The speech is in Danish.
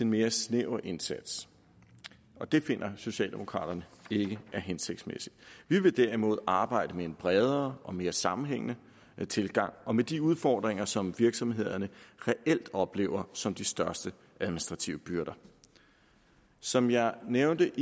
mere snæver indsats det finder socialdemokraterne ikke er hensigtsmæssigt vi vil derimod arbejde med en bredere og mere sammenhængende tilgang og med de udfordringer som virksomhederne reelt oplever som de største administrative byrder som jeg nævnte